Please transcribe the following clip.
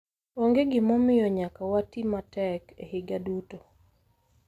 onge gimomiyo nyaka wati matek e higa duto.